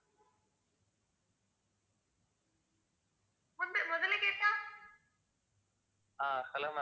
Ah hello ma'am.